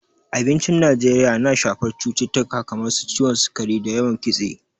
Abincin Najeriya yana shafar cututtuka kamar su ciwon sukari da yawan Kitse.